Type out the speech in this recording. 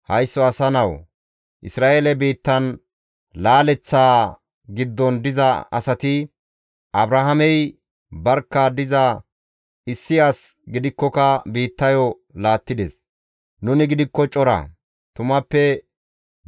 «Haysso asa nawu! Isra7eele biittan laaletti diza asati, ‹Abrahaamey barkka diza issi as gidikkoka biittayo laattides; nuni gidikko cora; tumappe